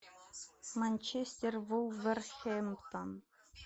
манчестер вулверхэмптон